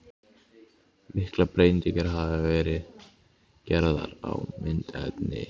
Miklar breytingar hafa verið gerðar á myndefni.